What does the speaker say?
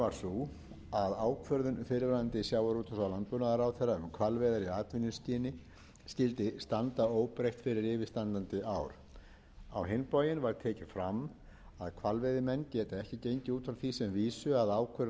sú að ákvörðun fyrrverandi sjávarútvegs og landbúnaðarráðherra um hvalveiðar í atvinnuskyni skyldi standa óbreytt fyrir yfirstandandi ár á hinn bóginn var tekið fram að hvalveiðimenn geta ekki gengið að því sem vísu að ákvörðun hans standi hvað varðar veiðar næstu